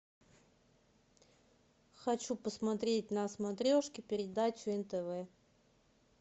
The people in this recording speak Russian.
хочу посмотреть на смотрешке передачу нтв